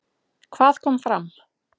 Hvað kom fram?